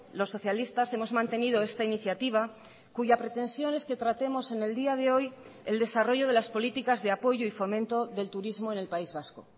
los socialistas hemos mantenido esta iniciativa cuya pretensión es que tratemos en el día de hoy el desarrollo de las políticas de apoyo y fomento del turismo en el país vasco